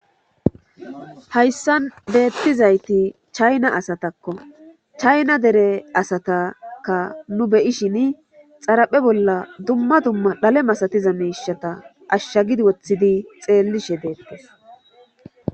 hayssa deettizayti chayna asatakko chayna dere asataka nu beyishin xaraphe bolla dumma dumma dhale masatiza miishata ashshagidi woththidi xeellishe deettes